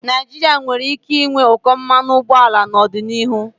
Naijiria nwere ike ịnwe ụkọ mmanụ ụgbọala n'ọdịnihu.